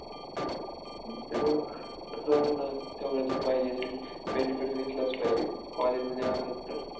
ते नेहमी पारंपरिक भारतीय पोशाख धोती आणि कापसासार कापसापासून बनवलेली शाल घालाय~